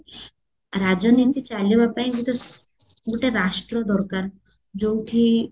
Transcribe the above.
ରାଜନୀତି ଚାଲିବା ପାଇଁ ଗୋଟେ ଗୋଟେ ରାଷ୍ଟ୍ର ଦରକାର ଯୋଉଠି